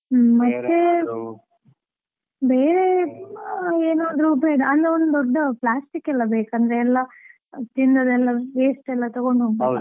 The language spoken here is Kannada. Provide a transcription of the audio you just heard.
ಬೇರೆ ಏನಾದ್ರೂ ಬೇಡ ಅಲ್ಲ, ಒಂದು ದೊಡ್ಡ plastic ಎಲ್ಲಾ ಬೇಕು. ಅಂದ್ರೆ ಎಲ್ಲಾ ತಿಂದದೆಲ್ಲ waste ಎಲ್ಲಾ ತೆಗೊಂಡು ಹೋಗಬೇಕು.